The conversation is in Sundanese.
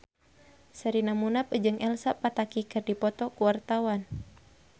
Sherina Munaf jeung Elsa Pataky keur dipoto ku wartawan